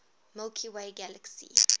milky way galaxy